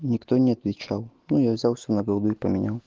никто не отвечал но я взялся на голубые поменял